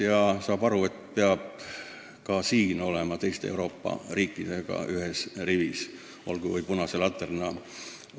Ta saab aru, et peab ka selles valdkonnas olema teiste Euroopa riikidega ühes rivis, olgu või punase laternana.